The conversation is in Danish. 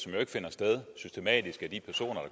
ikke finder sted systematisk af de personer